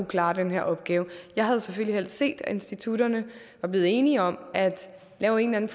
klare den her opgave jeg havde selvfølgelig helst set at institutterne var blevet enige om at lave en eller